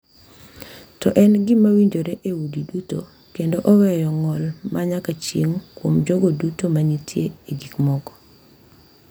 To en gima winjore e udi duto, kendo oweyo ng’ol ma nyaka chieng’ kuom jogo duto ma nitie e gik moko.